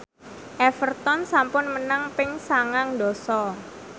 Everton sampun menang ping sangang dasa